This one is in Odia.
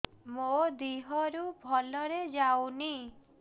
ମୋ ଦିହରୁ ଭଲରେ ଯାଉନି